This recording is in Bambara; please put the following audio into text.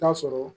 Taa sɔrɔ